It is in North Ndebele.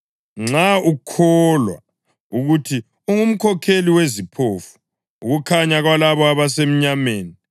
nxa ukholwa ukuthi ungumkhokheli weziphofu, ukukhanya kwalabo abasemnyameni,